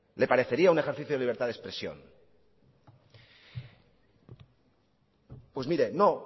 le parecía un ejercicio de libertad de expresión pues mire no